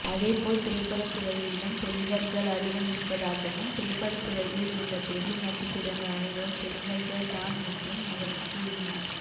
அதேபோல் திரைப்படத்துறையிலும் தெலுங்கர்கள் அதிகம் இருப்பதாகவும் திரைப்படத்துறையில் உள்ள பெரிய நட்சத்திரங்கள் அனைவரும் தெலுங்கர்கள் தான் என்றும் அவர் கூறினார்